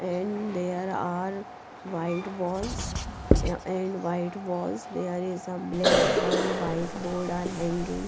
and there are white walls and white walls there is a ble one white board are hanging.